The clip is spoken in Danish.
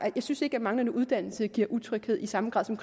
jeg synes ikke at manglende uddannelse giver utryghed i samme grad som